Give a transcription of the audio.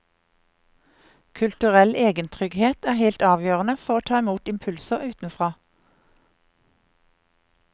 Kulturell egentrygghet er helt avgjørende for å ta imot impulser utenfra.